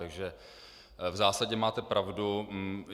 Takže v zásadě máte pravdu.